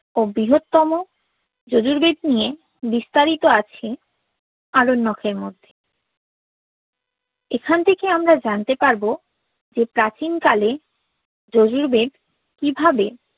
ও বৃহত্তম ঋজুর বেদ নিয়ে বিস্তারিত আছে আরণ্যক এর মধ্যে এখান থেকে আমরা জানতে পারবো যে প্রাচীন কালে ঋজুর বেদ কিভাবে